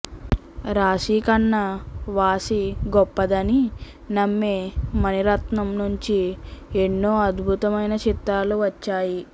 రాశీ కన్నా వాసి గొప్పదని నమ్మే మణిరత్నం నుంచి ఎన్నో అద్భుతమైన చిత్రాలు వచ్చాయి